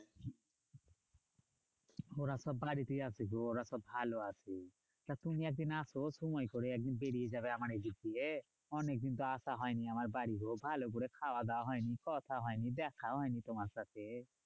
ওরা সব বাড়িতেই আছে গো ওরা সব ভালো আছে। তা তুমি একদিন আসো সময় করে একদিন বেরিয়ে যাবে আমার এইদিক দিয়ে। অনেকদিন তো আসা হয়নি আমার বাড়ি গো, ভালো করে খাওয়া দাওয়া হয়নি, কথা হয়নি, দেখা হয়নি তোমার সাথে।